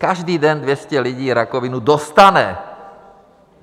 Každý den 200 lidí rakovinu dostane.